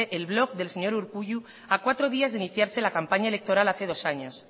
el blog del señor urkullu a cuatro días de iniciarse la campaña electoral hace dos años